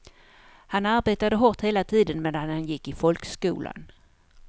Han arbetade hårt hela tiden medan han gick i folkskolan.